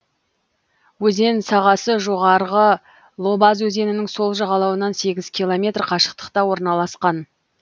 өзен сағасы жоғарғы лобаз өзенінің сол жағалауынан сегіз километр қашықтықта орналасқан